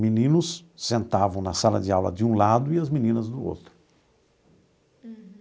Meninos sentavam na sala de aula de um lado e as meninas do outro.